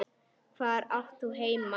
Hvar átt þú heima?